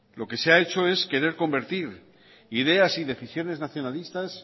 lo que se ha hecho es querer convertir ideas y decisiones nacionalistas